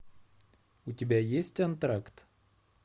у тебя есть антракт